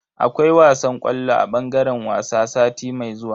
Akwai wasan ƙwallo a bangaren wasa sati mai zuwa.